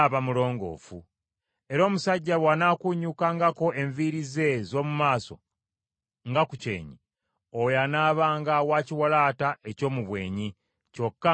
Era omusajja bw’anaakuunyuukangako enviiri ze ez’omu maaso nga ku kyenyi, oyo anaabanga wa kiwalaata eky’omu bwenyi, kyokka nga mulongoofu.